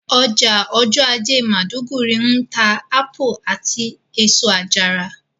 Ọjà ọjọ́ ajé maiduguri ń ta ápù àti èso àjàrà